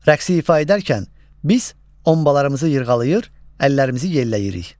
Rəqsi ifa edərkən, biz ombalarımızı yırğalayır, əllərimizi yelləyirik.